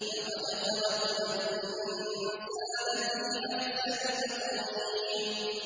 لَقَدْ خَلَقْنَا الْإِنسَانَ فِي أَحْسَنِ تَقْوِيمٍ